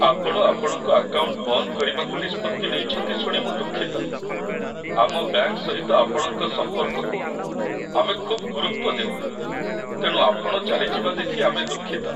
ଆପଣ ଆପଣଙ୍କ ଆକାଉଣ୍ଟ ବନ୍ଦ କରିବାକୁ ନିଷ୍ପତ୍ତି ନେଇଛନ୍ତି ଶୁଣି ମୁଁ ଦୁଃଖିତ। ଆମ ବ୍ୟାଙ୍କ ସହିତ ଆପଣଙ୍କ ସମ୍ପର୍କକୁ ଆମେ ଖୁବ୍ ଗୁରୁତ୍ୱ ଦେଉ, ତେଣୁ ଆପଣ ଚାଲିଯିବା ଦେଖି ଆମେ ଦୁଃଖିତ।